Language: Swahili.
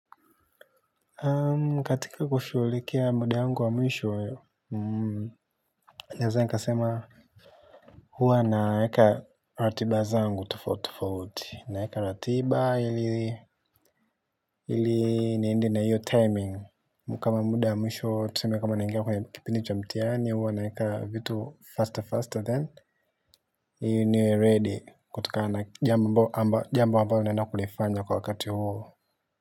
Katika kushughulikia muda wangu wa mwisho, naeza nikasema hua naeka ratiba zangu tofauti tofauti naeka ratiba ili niende na hiyo timing kama muda wa mwisho tuseme kama naingia kwenye kipindi wa mtihani huwa naeka vitu faster faster then ili niwe ready kutoka na jambo ambalo naenda kulifanya kwa wakati huo.